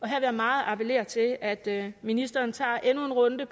jeg meget appellere til at ministeren tager endnu en runde